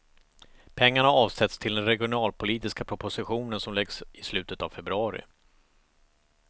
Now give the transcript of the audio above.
Pengarna avsätts till den regionalpolitiska propositionen som läggs i slutet av februari.